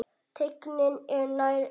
Teygnin er nær engin.